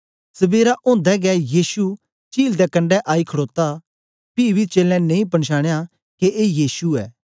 सबेरा ओदे गै यीशु चील दे कंडै आई खडोता पी बी चेलें नेई पंछानया के ए यीशु ऐ